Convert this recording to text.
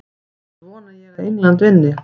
Annars vona ég að England vinni.